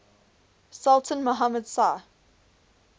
sultan muhammad shah